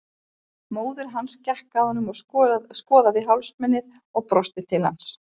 Móðir hans gekk að honum og skoðaði hálsmenið og brosti til hans.